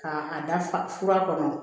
Ka a da fa fura kɔnɔ